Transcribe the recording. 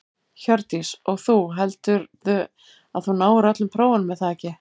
Hjördís: Og þú, heldurðu að þú náir öllum prófunum er það ekki?